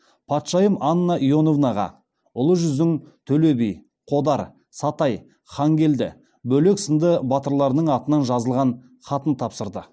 патшайым анна иоановнаға ұлы жүздің төле би қодар сатай хангелді бөлек сынды батырларының атынан жазылған хатын тапсырды